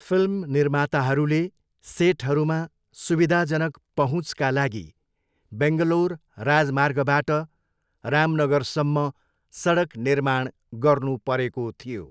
Film निर्माताहरूले सेटहरूमा सुविधाजनक पहुँचका लागि बेङ्गलोर राजमार्गबाट रामनगरसम्म सडक निर्माण गर्नुपरेको थियो।